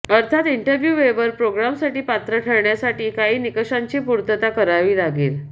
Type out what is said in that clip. अर्थात interview waiver प्रोग्रॅमसाठी पात्र ठरण्यासाठी काही निकषांची पूर्तता करावी लागते